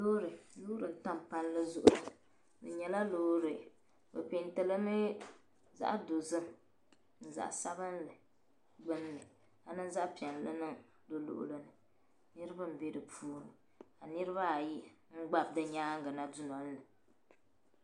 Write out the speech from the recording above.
Loori. loori. n-tam. palli. zuɣu. o nyala loori. bi pɛɛntilimi. zaɣ' dozim zaɣ sabinli gbin ni. ka niŋ zaɣ' piɛlli niŋ di luɣuli ni. niribi. mbɛ. di puuni. kanirib ayi gba bɛ nyaaŋgi na du nolini